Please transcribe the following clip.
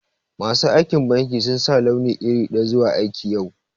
Masu aikin banki sun sa launi iri daya zuwa aiki yau.